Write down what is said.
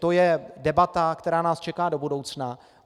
To je debata, která nás čeká do budoucna.